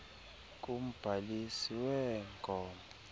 kumbhalisi wee gmo